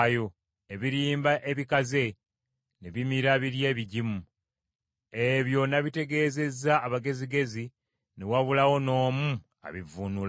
Ebirimba ebikaze ne bimira biri ebigimu. Ebyo nabitegeezezza abagezigezi ne wabulawo n’omu abivvuunula.”